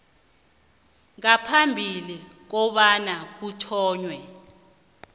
ngaphambi kobana kuthonywe